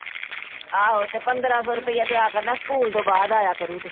ਆਹੋ ਤੇ ਪੰਦਰਾਂ ਸੋ ਰੁਪਈਆ ਦਿਆ ਕਰਨਾ ਸਕੂਲ ਤੋਂ ਬਾਅਦ ਆਇਆ ਕਰੁ ਤੇ।